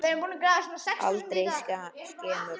Aldrei skemur.